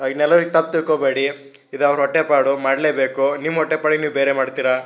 ಇನ್ನೆಲ್ಲರೂ ತಪ್ಪು ತಿಳ್ಕೊಬೇಡಿ ಇದು ಅವರ ಹೊಟ್ಟೆಪಾಡು ಮಾಡಲೇಬೇಕು ನಿಮ್ಮ ಹೊಟ್ಟೆಪಾಡಿಗೆ ನೀವು ಬೇರೆ ಮಾಡ್ತೀರಾ.